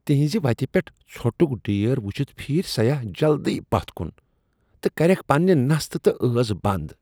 تہنزِ وتِہ پیٚٹھ ژھۄٹُک ڈھیر ؤچھتھ پھیرۍ سیاح جلدی پتھ کُن تہٕ کریکھ پننِہ نستہٕ تہٕ ٲس بنٛد۔